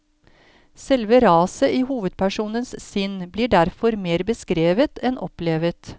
Selve raset i hovedpersonens sinn blir derfor mer beskrevet enn opplevet.